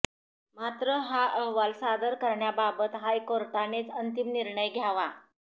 मात्र हा अहवाल सादर करण्याबाबत हायकोर्टानेच अंतिम निर्णय घ्यावा